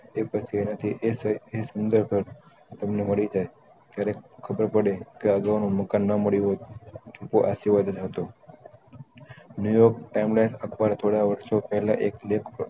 એ પછી એના થી એ શામ્જાતો તમને મળી રેહ ત્યારેં ખબર પડે આગનું મકાન ના મળ્યું હોય એ આશીર્વાદ જ હતો બીજો અથવા થોડા વર્ષો પેહલા એક left